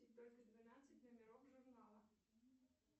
только двенадцать номеров журнала